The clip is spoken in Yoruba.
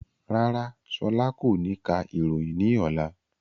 Rárá, ṣọlá kò ní ka ìròyìn ní ọlá